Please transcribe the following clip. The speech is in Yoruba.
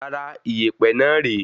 Rárá, ìyèpẹ̀ náà re